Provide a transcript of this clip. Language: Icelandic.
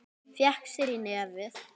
Fékk sér í nefið.